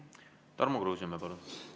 Tarmo Kruusimäe, palun!